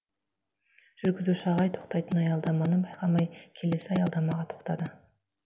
жүргізуші ағай тоқтайтын аялдаманы байқамай келесі аялдамаға тоқтады